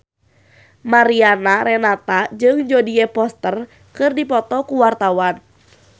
Mariana Renata jeung Jodie Foster keur dipoto ku wartawan